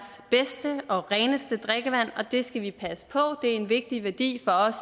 bedste og reneste drikkevand og det skal vi passe på det er en vigtig værdi for os